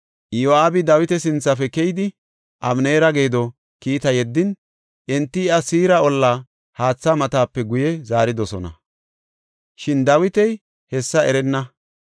Iyo7aabi Dawita sinthafe keyidi, Abeneera geedo kiitaa yeddin, enti iya Siira olla haatha matape guye zaaridosona; shin Dawiti hessa erenna.